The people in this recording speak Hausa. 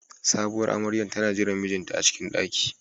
Sabowar amaryar tana jiran mijinta a cikin ɗaki.